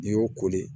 N'i y'o koli